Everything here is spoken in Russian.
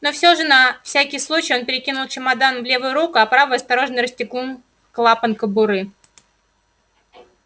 но всё же на всякий случай он перекинул чемодан в левую руку а правой осторожно расстегнул клапан кобуры